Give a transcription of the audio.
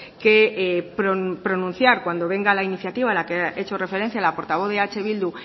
que pronunciar cuando venga la iniciativa a la que he hecho referencia a la portavoz de eh bildu